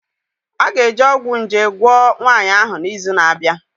A ga-eji ọgwụ nje gwọọ nwanyị ahụ n'izu na-abịa